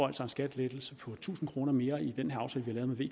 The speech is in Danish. en skattelettelse på tusind kroner mere i den aftale vi